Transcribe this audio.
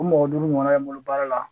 O mɔgɔ duuru Ɲɔgɔna be n bolo baara la